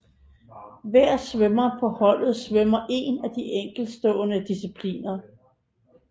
Hver svømmer på holdet svømmer én af de enkeltstående discipliner